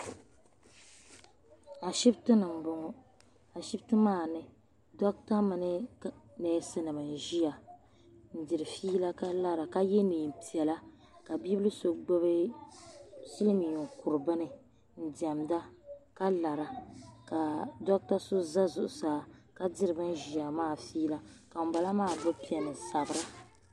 Ashipti ni mboŋɔ ashipti maa ni doɣatɛ mini neesi nima n ʒia n diri fiila ka lara ka ye niɛn'piɛla ka bibila so gbibi kuru bini n diɛmda ka lara ka doɣatɛ so za zuɣusaa ka diri ban ʒia maa fiila ka ŋun bala maa gbibi peni n sabira.